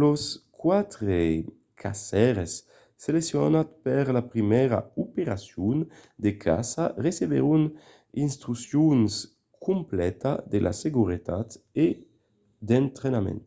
los quatre caçaires seleccionats per la primièra operacion de caça recebèron d’instruccions completa de seguretat e d'entrainament